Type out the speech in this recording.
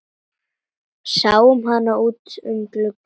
Sáum hann út um glugga.